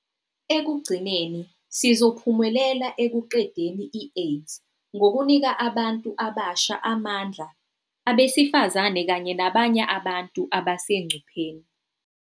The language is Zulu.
Ekugcineni, sizophumelela ekuqedeni i-AIDS ngokunika abantu abasha amandla, abesifazane kanye nabanye abantu abasengcupheni.